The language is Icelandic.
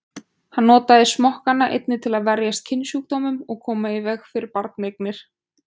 Hann notaði smokkana einnig til að verjast kynsjúkdómum og koma í veg fyrir barneignir.